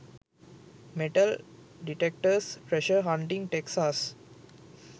metal detectors treasure hunting texas